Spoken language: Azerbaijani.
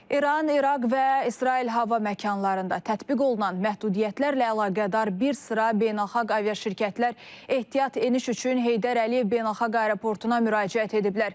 İran, İraq və İsrail hava məkanlarında tətbiq olunan məhdudiyyətlərlə əlaqədar bir sıra beynəlxalq aviaşirkətlər ehtiyat eniş üçün Heydər Əliyev Beynəlxalq Aeroportuna müraciət ediblər.